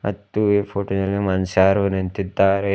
ಮತ್ತು ಈ ಫೋಟೋ ದಲ್ಲಿ ಮನುಷ್ಯಾರು ನಿಂತಿದ್ದಾರೆ.